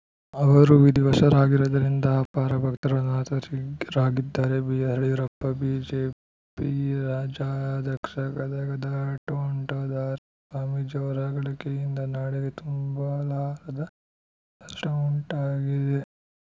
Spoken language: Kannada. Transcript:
ಅವರು ವಿಧಿವಶರಾಗಿರುವುದರಿಂದ ಅಪಾರ ಭಕ್ತರು ಅನಾಥರಾಗಿದ್ದಾರೆ ಬಿಎಸ್‌ಯಡಿಯೂರಪ್ಪ ಬಿಜೆಪಿ ರಾಜ್ಯಾಧ್ಯಕ್ಷ ಗದಗದ ತೋಂಟದಾರ್ಯ ಸ್ವಾಮೀಜಿ ಅವರ ಅಗಲಿಕೆಯಿಂದ ನಾಡಿಗೆ ತುಂಬಲಾರದ ನಷ್ಟಉಂಟಾಗಿದೆ